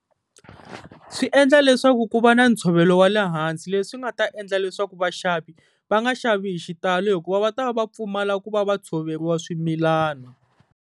Swi endla leswaku ku va na ntshovelo wa le hansi, leswi nga ta endla leswaku vaxavi va nga xavi hi xitalo hikuva va ta va va pfumala ku va va tshoveriwa swimilana.